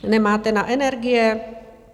Nemáte na energie?